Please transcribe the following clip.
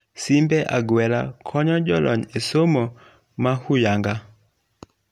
Simbe agwela konyo jolony e somo mohuyanga.